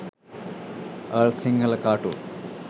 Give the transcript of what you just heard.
all sinhala cartoon